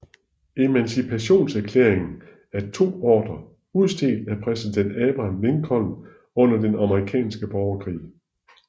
Emancipationserklæringen er to ordrer udstedt af præsident Abraham Lincoln under den Amerikanske borgerkrig